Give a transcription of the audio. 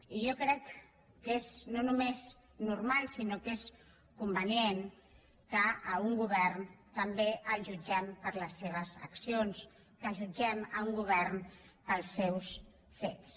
i jo crec que és no només normal sinó que és convenient que un govern també el jutgem per les seves accions que jutgem un govern pels seus fets